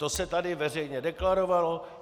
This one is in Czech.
To se tady veřejně deklarovalo.